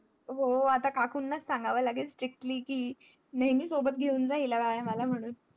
हो आता काकूंना लाच सांगावा लागेल strictly कि नेमही सोबत घेउन झा हिला व्यायाम आ ला म्हणून